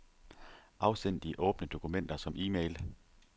Afsend de åbne dokumenter som e-mail.